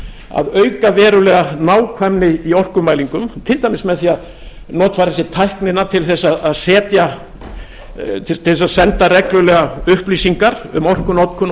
að auka verulega nákvæmni í orkumælingum til dæmis með því að notfæra sér tæknina til þess að senda reglulega upplýsingar um orkunotkun